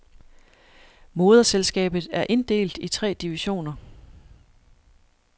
Moderselskabet er inddelt i tre divisioner.